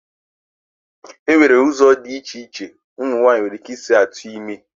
Enwere ụzọ dị iche iche umu nwaanyị nwere ike isi tụọ ime.